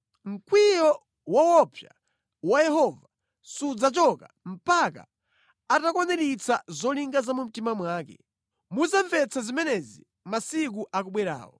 Mkwiyo woopsa wa Yehova sudzachoka mpaka atakwaniritsa zolinga za mu mtima mwake. Mudzamvetsa zimenezi masiku akubwerawo.